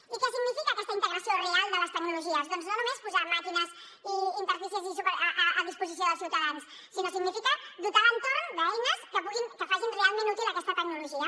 i què significa aquesta integració real de les tecnologies doncs no només posar màquines i interfícies a disposició dels ciutadans sinó que significa dotar l’entorn d’eines que puguin que facin realment útil aquesta tecnologia